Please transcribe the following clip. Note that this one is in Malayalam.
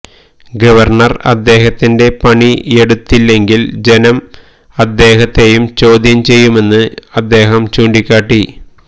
ഗവർണർ അദ്ദേഹത്തിന്റെ പണിയെടുത്തിട്ടില്ലെങ്കിൽ ജനം അദ്ദേഹത്തെയും ചോദ്യം ചെയ്യുമെന്ന് അദ്ദേഹം ചൂണ്ടിക്കാട്ടി